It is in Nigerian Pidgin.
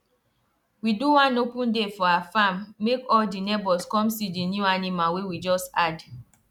we do one open day for our farm make all di neighbors come see di new animal wey we just add